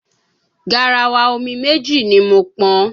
Garawa omi méjì ni mo pọn.